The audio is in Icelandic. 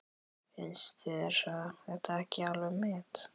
Finnst þér þetta ekki alveg met!